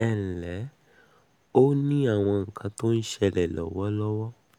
ẹ ǹlẹ́ ó ní àwọn nǹkan tó ń tó ń ṣẹlẹ̀ lọ́wọ́